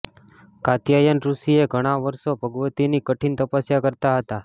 કાત્યાયન ઋષિએ ઘણા વર્ષો ભગવતીની કઠિન તપસ્યા કરતા હતા